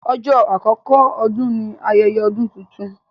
Ọjọ́ àkókò Ọdún ní ayẹyẹ ọdún títún.